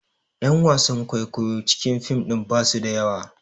Ƴan wasan kwaikwayon cikin fim ɗin basu da yawa